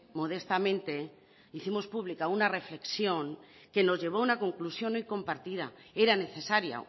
modestamente hicimos pública una reflexión que nos llevó a una conclusión hoy compartida era necesaria